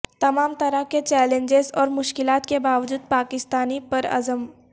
تمام طرح کے چیلنجز اور مشکلات کے باوجود پاکستانی پرعزم